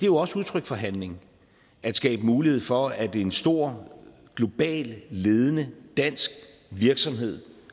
jo også udtryk for handling at skabe mulighed for at en stor global ledende dansk virksomhed